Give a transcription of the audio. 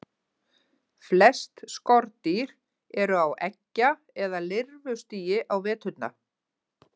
Flest skordýr eru á eggja- eða lirfustigi á veturna.